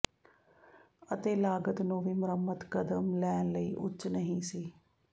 ਅਤੇ ਲਾਗਤ ਨੂੰ ਵੀ ਮੁਰੰਮਤ ਕਦਮ ਲੈਣ ਲਈ ਉੱਚ ਨਹੀ ਸੀ